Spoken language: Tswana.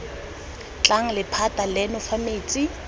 tlang lephata leno fa metsi